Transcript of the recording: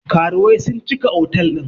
Karuwai sun cika otal ɗin nan